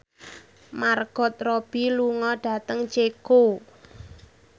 Margot Robbie lunga dhateng Ceko